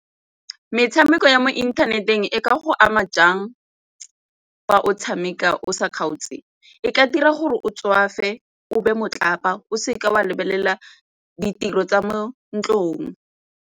Metshameko ya mo inthaneteng e ka go ama jang fa o tshameka o sa kgaotse? E ka dira gore o tswafe, o be matlapa o seke wa lebelela ditiro tsa mo ntlong.